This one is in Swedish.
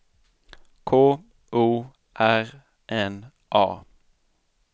K O R N A